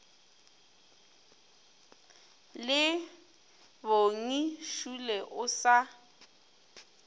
le bongi šole o sa